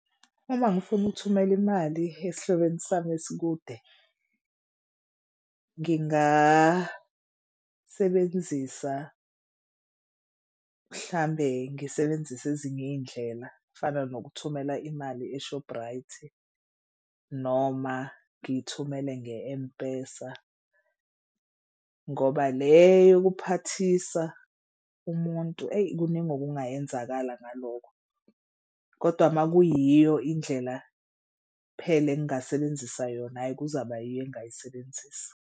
Uma ngifuna ukuthumela imali esihlobene sami esikude, ngingasebenzisa mhlambe ngisebenzise ezinye iy'ndlela kufana nokuthumela imali eShoprite noma ngithumele nge-M_PESA ngoba le yokuphathisa umuntu eyi kuningi kungayenzakala ngalokho. Kodwa uma kuyiyo indlela phela engingasebenzisa yona ayi kuzaba yiyo engingayisebenzisa.